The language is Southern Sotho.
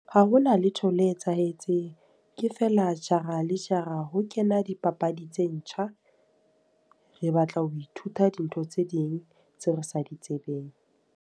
Ha ho na letho le etsahetseng. Ke feela jara le jara ho kena dipapadi tse ntjha. Re batla ho ithuta dintho tse ding, tseo re sa di tsebeng.